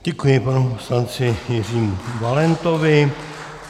Děkuji panu poslanci Jiřímu Valentovi.